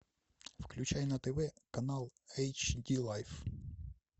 включай на тв канал эйч ди лайф